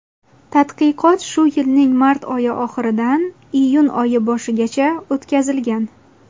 Tadqiqot shu yilning mart oyi oxiridan iyun oyi boshigacha o‘tkazilgan.